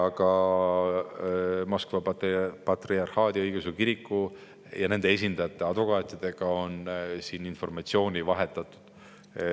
Ka Moskva patriarhaadi õigeusu kiriku ja nende esindajate, advokaatidega on informatsiooni vahetatud.